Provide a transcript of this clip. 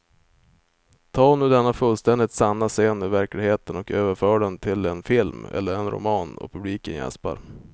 Ta nu denna fullständigt sanna scen ur verkligheten och överför den till en film eller en roman och publiken jäspar.